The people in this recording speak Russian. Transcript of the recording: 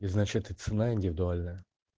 и значит и цена индивидуальная